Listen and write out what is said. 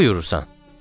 Nə buyurursan?